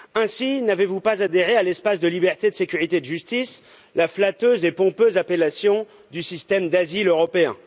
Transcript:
Ainsi n'avez vous pas adhéré à l'espace de liberté, de sécurité et de justice, la flatteuse et pompeuse appellation du système d'asile européen.